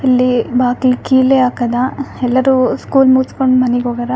ಇಲ್ಲಿ ಬಾಕ್ಲಿಗ್ ಕೀಲೆ ಹಾಕದ ಎಲ್ಲರು ಸ್ಕೂಲ್ ಮುಗಸ್ಕೊಂಡು ಮನಿಗ್ ಹೋಗಾರ.